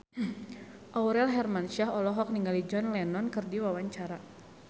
Aurel Hermansyah olohok ningali John Lennon keur diwawancara